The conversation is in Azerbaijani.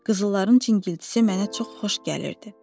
Qızılların cingiltisi mənə çox xoş gəlirdi.